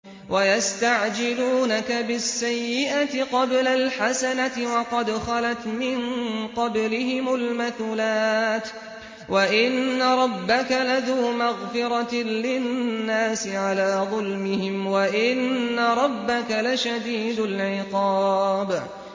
وَيَسْتَعْجِلُونَكَ بِالسَّيِّئَةِ قَبْلَ الْحَسَنَةِ وَقَدْ خَلَتْ مِن قَبْلِهِمُ الْمَثُلَاتُ ۗ وَإِنَّ رَبَّكَ لَذُو مَغْفِرَةٍ لِّلنَّاسِ عَلَىٰ ظُلْمِهِمْ ۖ وَإِنَّ رَبَّكَ لَشَدِيدُ الْعِقَابِ